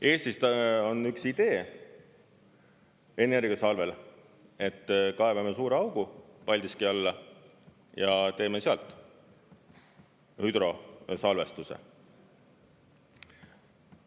Eestis on üks idee energiasalvel, et kaevame suure augu Paldiski alla ja teeme seal hüdrosalvestuse.